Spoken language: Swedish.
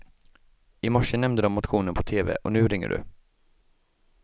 I morse nämnde de motionen på tv och nu ringer du.